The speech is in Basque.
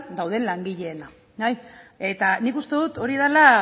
dauden langileena eta nik uste dut hori dela